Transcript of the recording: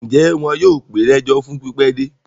Ǹjẹ́ wọn yóò pè é lẹ́jọ́ fún pípẹ́ dé?